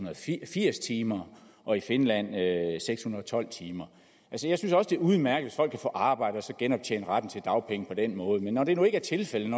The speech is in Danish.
og firs timer og i finland seks hundrede og tolv timer jeg synes også det er udmærket hvis folk kan få arbejde og så genoptjene retten til dagpenge på den måde men når det nu ikke er tilfældet